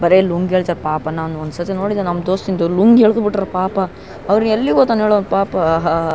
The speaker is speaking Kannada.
ಬರೇ ಲುಂಗಿ ಏಳ್ತಾರ್ ಪಾಪ ನಾನ್ ಒಂದ್ ಸತೇ ನಮ್ಮ್ ದೋಸ್ತುದು ಲುಂಗಿ ಯೆಲ್ದುಬಿಟ್ರು ಪಾಪ ಅವನು ಎಲ್ಲಿಗೊತನೇಳು ಪಾಪ ಆಹಾಹ --